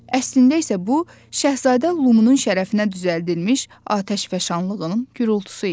Əslində isə bu Şahzadə Lumunun şərəfinə düzəldilmiş atəşfəşanlığının gurultusu idi.